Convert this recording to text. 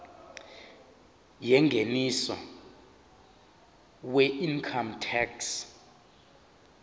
yengeniso weincome tax